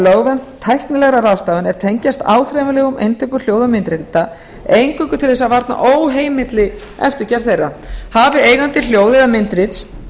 lögvernd tæknilegra ráðstafana er tengjast áþreifanlegum eintökum hljóð og myndrita eingöngu til þess að varna óheimilli eftirgerð þeirra hafi eigandi hljóð eða myndrits